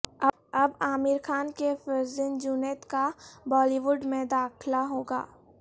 اب عامر خان کے فرزند جنید کا بالی ووڈ میں داخلہ ہوگا